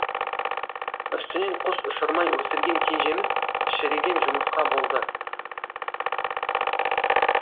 үстінен құс ұшырмай өсірген кенжеміз шіріген жұмыртқа болды